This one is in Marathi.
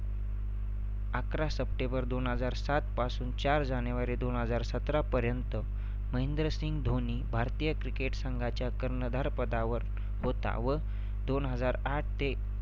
अकरा सप्टेंबर दोन हजार सात पासून चार जानेवारी दोन हजार सत्रापर्यंत महेंद्रसिंह धोनी भारतीय cricket संघाच्या कर्णधार पदावर होता व दोन हजार आठ ते